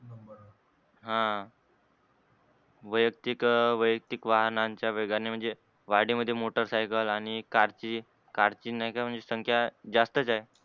हा वयक्तिक, वयक्तिक वाहनाचे वेगाने म्हणजे वाढीमध्ये motor cycle आणि कारची, कारची नाही का संख्या जास्तच आहे.